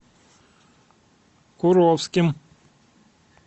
куровским